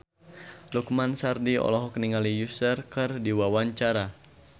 Lukman Sardi olohok ningali Usher keur diwawancara